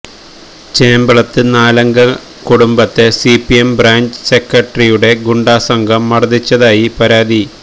ചേമ്പളത്ത് നാലംഗ കുടുംബത്തെ CPM branch സെക്രട്ടറിയുടെ ഗുണ്ടാസംഘം മര്ദ്ദിച്ചതായി പരാതി